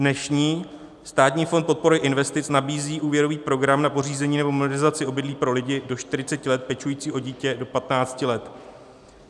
Dnešní Státní fond podpory investic nabízí úvěrový program na pořízení nebo modernizaci obydlí pro lidi do 40 let pečující o dítě do 15 let.